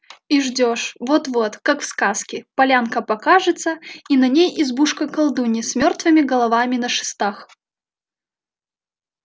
и ждёшь вот-вот как в сказке полянка покажется и на ней избушка колдуньи с мёртвыми головами на шестах